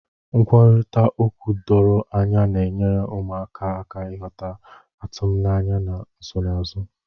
Nkwurịta okwu doro anya na-enyere ụmụaka aka ịghọta atụmanya na nsonaazụ.